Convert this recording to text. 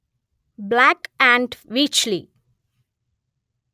black & వీచ్ లి